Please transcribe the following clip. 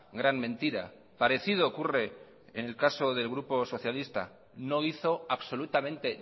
gran mentira parecido ocurre en el caso del grupo socialista no hizo absolutamente